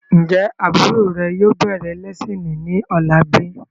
Ń jẹ́ àbúrò rè yìí ó bẹ̀rẹ̀ lẹ́siini ni ọ̀la bíi?